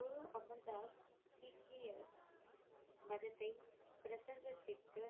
குரு அமர் தாஸ் சீக்கிய மதத்தை பிரசங்கத்திற்கு